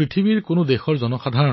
বোধহয় বিশ্বৰ কোনো দেশতে তাৰে